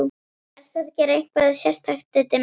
Ertu að gera eitthvað sérstakt, Diddi minn.